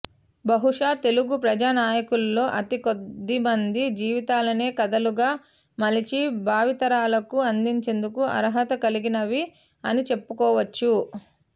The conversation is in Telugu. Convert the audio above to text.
బహుశా తెలుగు ప్రజా నాయకులలో అతి కొద్దిమంది జీవితాలనే కథలుగా మలచి భావితరాలకు అందించేందుకు అర్హత కలిగినవి అని చెప్పుకోవచ్చు